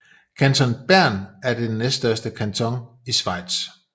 Kanton Bern er den næststørste kanton i Schweiz